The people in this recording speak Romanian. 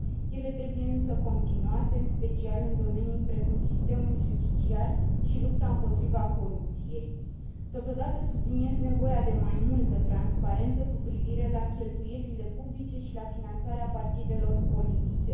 Ele trebuie, însă, continuate, în special în domenii precum sistemul judiciar și lupta împotriva corupției. Totodată, subliniez nevoia de mai multă transparență cu privire la cheltuielile publice și la finanțarea partidelor politice.